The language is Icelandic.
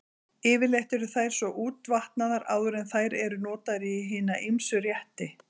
Yfirleitt eru þær svo útvatnaðar áður en þær eru notaðar í hina ýmsu rétti.